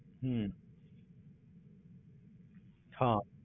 ਹਮ ਹਾਂ।